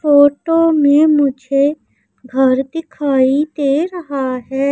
Photo में मुझे घर दिखाई दे रहा है।